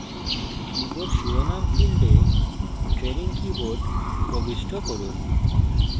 keyboard শিরোনাম ফীল্ডে training keyboard প্রবিষ্ট করুন